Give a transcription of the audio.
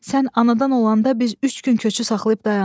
Sən anadan olanda biz üç gün köçü saxlayıb dayandıq.